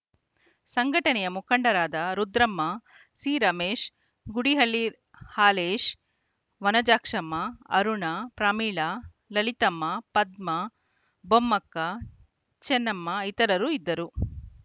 ಸಂಘಟನೆಯ ಮುಖಂಡರಾದ ರುದ್ರಮ್ಮ ಸಿರಮೇಶ ಗುಡಿಹಳ್ಳಿ ಹಾಲೇಶ ವನಜಾಕ್ಷಮ್ಮ ಅರುಣ ಪ್ರಮೀಳಾ ಲಲಿತಮ್ಮ ಪದ್ಮಾ ಬೊಮ್ಮಕ್ಕ ಚನ್ನಮ್ಮ ಇತರರು ಇದ್ದರು